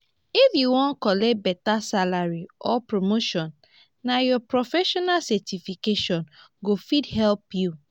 if u wan collect beta salary or promotion nah ur professional certification go fit help u.